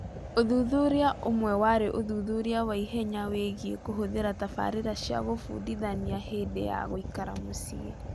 Ũthuthuria ũmwe warĩ ũthuthuria wa ihenya wĩgiĩ kũhũthĩra tabarĩra cia kũbundithania hĩndĩ ya "gũikara mũciĩ".